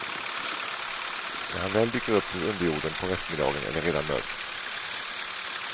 När han väl dyker upp ur underjorden på eftermiddagen är det redan mörkt.